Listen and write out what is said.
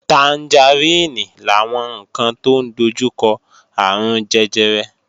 Tangaríìnì làwọn ǹkan tó ń dojúkọ àrùn jẹjẹrẹ